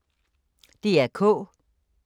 DR K